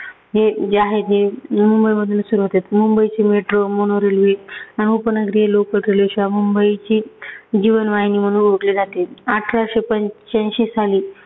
हे जे आहे जे मुंबईमधून सुरू होतात. मुंबईची metro, mono railway, उपनगरीय local railway मुंबईची जीवनवाहिनी म्हणून ओळखली जाते. अठराशे पंच्याऐंशी साली